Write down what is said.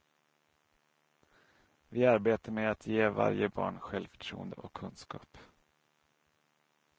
Vi arbetar med att ge varje barn självförtroende och kunskap.